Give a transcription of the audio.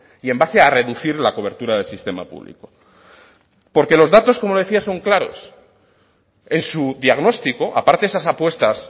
y en base a reducir la cobertura del sistema público porque los datos como decía son claros en su diagnóstico aparte de esas apuestas